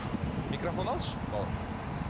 микрофон алшы бауырым